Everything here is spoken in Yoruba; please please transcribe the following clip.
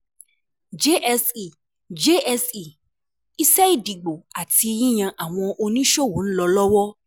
JSE JSE Iṣẹ́ ìdìbò àti yíyan àwọn oníṣòwò ń lọ lọ́wọ́.